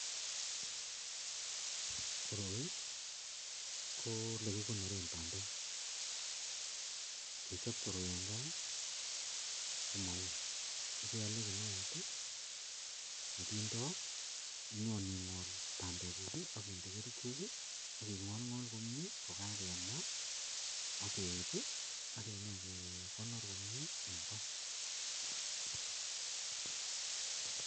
Koroi ko yelekikonoren bandek kechob koroi en gaa komawui iwendii iyale kinuet nekindoi akinyon ingol bandek guk akinde kerchek akingolgol komie kokagei ma akeib akenyo gekonor komie